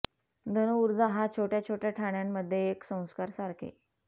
धनु ऊर्जा हा छोट्या छोट्या ठाण्यांमध्ये एक संस्कार सारखे